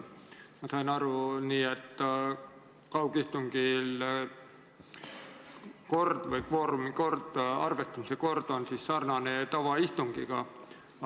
Ma sain aru nii, et kaugistungi kvoorumi kord või arvestuse kord on sarnane tavaistungiga.